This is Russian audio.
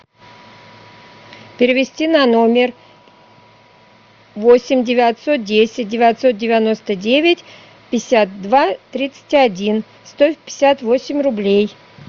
перевести на номер восемь девятьсот десять девятьсот девяносто девять пятьдесят два тридцать один сто пятьдесят восемь рублей